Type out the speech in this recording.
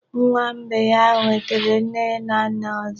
Nwa mgbei ahụ nwetere nne na nna ọzọ.